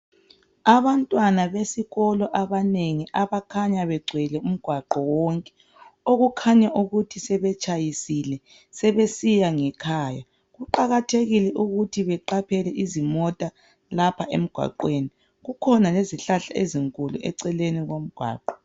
Abantwana besikolo abanengi abakhanya begcwele umgwaqo wonke, okukhanya ukuthi betshayisile, sebesiya ngekhaya. Kuqakathekile ukuthi beqaphele izimota lapha emgwaqweni. Kukhona ngezihlahla ezinkulu eceleni komgwaqo.